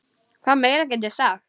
Hvað meira get ég sagt?